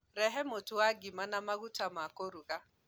Rehe Mũtu wa ngima na maguta ma kũruga.